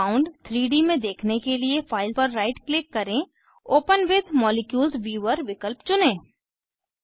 compound 3 D में देखने के लिए फाइल पर राइट क्लिक करें ओपन विथ मॉलिक्यूल्स व्यूवर विकल्प चुनें